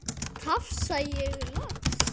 tafsa ég loks.